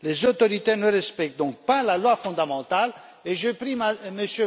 Les autorités ne respectent donc pas la loi fondamentale et je prie M.